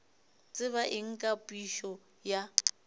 tseba eng ka phišo ya